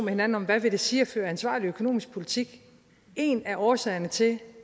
hinanden om hvad det vil sige at føre ansvarlig økonomisk politik en af årsagerne til